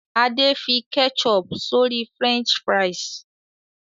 Ade fí ketchup sori french fries.